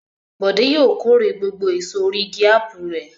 Bọ̀dé yóò kórè gbogbo èso orí igi ápù rẹ̀.